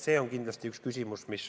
See on kindlasti omaette teema.